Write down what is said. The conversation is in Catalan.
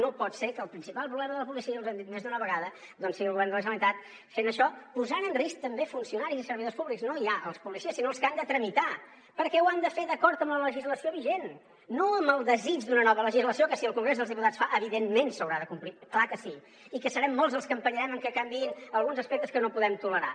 no pot ser que el principal problema de la policia els ho hem dit més d’una vegada sigui el govern de la generalitat fent això posant en risc també funcionaris i servidors públics no ja els policies sinó els que han de tra·mitar perquè ho han de fer d’acord amb la legislació vigent no amb el desig d’una nova legislació que si el congrés dels diputats fa evidentment s’haurà de complir clar que sí i que serem molts els que empenyerem perquè canviïn alguns aspectes que no podem tolerar